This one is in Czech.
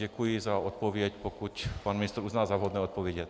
Děkuji za odpověď, pokud pan ministr uzná za vhodné odpovědět.